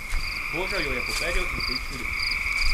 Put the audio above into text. Božal jo je po perju in se ji čudil.